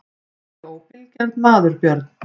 Er ég óbilgjarn maður Björn?